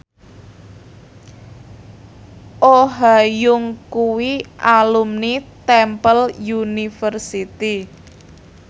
Oh Ha Young kuwi alumni Temple University